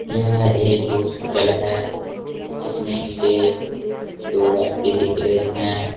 यह एक हॉस्पिटल है जिसमें मुझे दो व्यक्ति दिख रहे हैं।